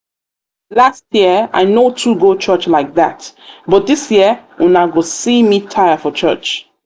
last year i no too um go church like um dat but dis year una go see um me tire for church